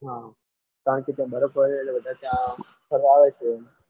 હા કારણ કે ત્યાં બરફ પડે છે વધારે એટલે ફરવા આવે છે.